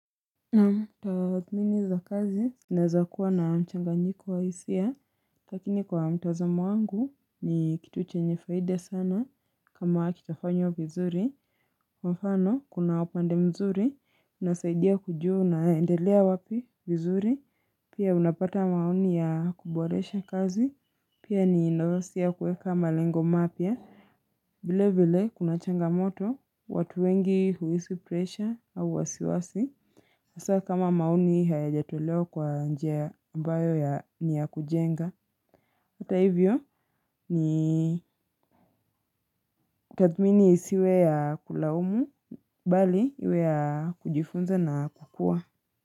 Naam, za kazi naweza kuwa na mchanganyiko wa hisia. Lakini kwa mtazamo wangu, ni kitu chenye faida sana, kama kitafanywa vizuri. Kwa mfano kuna upande mzuri. Unasaidia kujua unaendelea wapi vizuri. Pia unapata maoni ya kuboresha kazi. Pia ni inoosia kueka malengo mapya vile vile kuna changamoto watu wengi huhisi presha au wasiwasi Sasa kama maoni hayajatolewa kwa njia ambayo ya ni ya kujenga. Hata hivyo ni. Kutadhmini isiwe ya kulaumu. Bali iwe ya, kujifunza na, kukua.